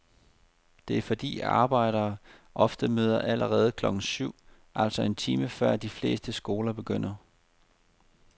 Det er fordi arbejdere ofte møder allerede klokken syv, altså en time før de fleste skoler begynder.